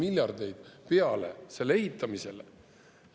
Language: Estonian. miljardeid peale selle ehitamisele.